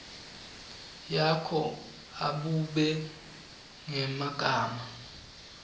yakho abube ngemagama